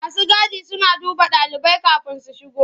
Masu gadi suna duba ɗalibai kafin su shigo.